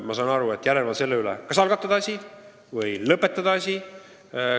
Ma saan aru, et te peate silmas järelevalvet selle üle, kas algatada asi või lõpetada asi.